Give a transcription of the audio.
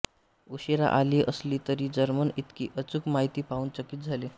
उशीरा आली असली तरी जर्मन इतकी अचूक माहिती पाहून चकित झाले